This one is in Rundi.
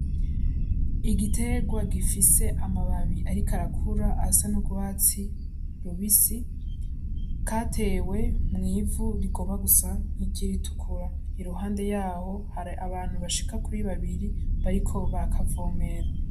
Igitegwa gifise amababi ariko arakura asa n' ugwatsi rubisi, katewe mw'ivu rigomba gusa nkiry' iritukura iruhande yaho hari abantu bashika kuri babiri bariko barakavomera.